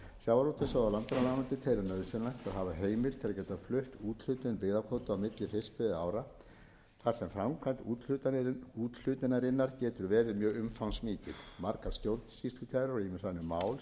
sjávarútvegs og landbúnaðarráðuneytið telur nauðsynlegt að hafa heimild til að geta flutt úthlutun byggðakvóta á milli fiskveiðiára þar sem framkvæmd úthlutunarinnar getur verið mjög umfangsmikil margar stjórnsýslukærur og ýmis önnur mál sem berast ráðuneytinu